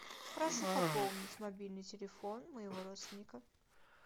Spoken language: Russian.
прошу пополнить мобильный телефон моего родственника